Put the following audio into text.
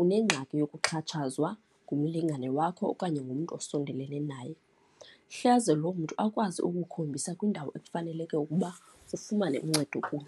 unengxaki yokuxhatshazwa ngumlingane wakho okanye ngumntu usondelelene naye. Hleze lo mntu akwazi ukukhombisa kwiindawo ekufaneleke ukuba ufumane uncedo kuyo.